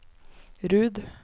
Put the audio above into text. Rud